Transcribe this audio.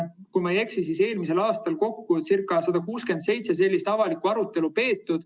Kui ma ei eksi, siis eelmisel aastal peeti ca 167 sellist avalikku arutelu.